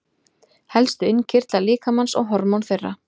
Helstu innkirtlar líkamans og hormón þeirra.